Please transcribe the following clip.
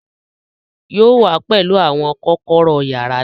Yóò wá pẹlú àwọn kọ́kọ́rọ́ yàrá náà